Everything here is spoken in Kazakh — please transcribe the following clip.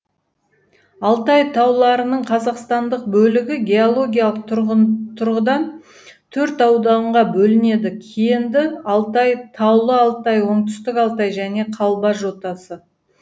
алтай тауларының қазақстандық бөлігі геологиялық тұрғыдан төрт ауданға бөлінеді кенді алтай таулы алтай оңтүстік алтай және қалба жотасы